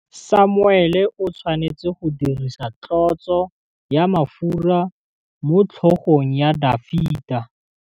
Samuele o tshwanetse go dirisa tlotsô ya mafura motlhôgong ya Dafita.